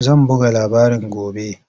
Za a buga labarin gobe.